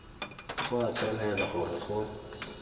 go a tshwanela gore go